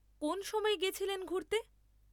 কোন সময় গেছিলেন ঘুরতে?